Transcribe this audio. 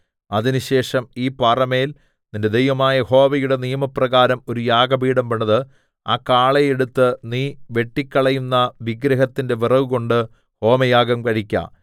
അതിനുശേഷം ഈ പാറമേൽ നിന്റെ ദൈവമായ യഹോവയുടെ നിയമപ്രകാരം ഒരു യാഗപീഠം പണിത് ആ കാളയെ എടുത്ത് നീ വെട്ടിക്കളയുന്ന വിഗ്രഹത്തിന്റെ വിറകുകൊണ്ട് ഹോമയാഗം കഴിക്ക